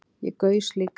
Ég gaus líka